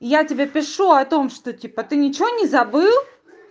я тебе пишу о том что типа ты ничего не забыл